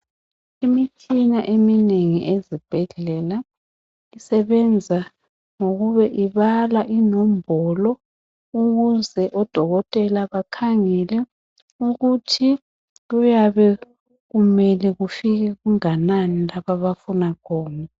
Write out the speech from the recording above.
Imitshina eminengi ezibhedlela isebenza ngokube ibala inombolo ukuze odokotela bakhangele ukuthi kuyabe kumele kufike kunganani lapho abafuna kufike khona